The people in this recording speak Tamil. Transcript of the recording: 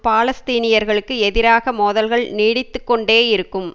பாலஸ்தீனியர்களுக்கு எதிராக மோதல்கள் நீடித்து கொண்டே இருக்கும்